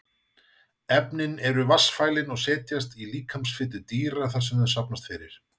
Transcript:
Efnin eru vatnsfælin og setjast í líkamsfitu dýra þar sem þau safnast fyrir.